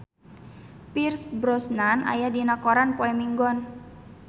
Pierce Brosnan aya dina koran poe Minggon